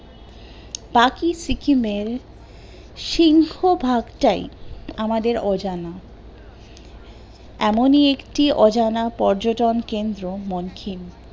বাকী সিকিমের সিংহভাগটাই আমাদের অজানা এমনি একটি অজানা পর্যটন কেন্দ্র মনকিন